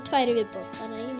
tvær í viðbót